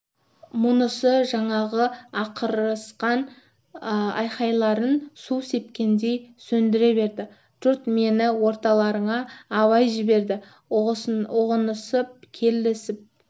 мұнысы жаңағы ақырысқан айқайларын су сепкендей сөндіре берді жұрт мені орталарыңа абай жіберді ұғынысып келісіп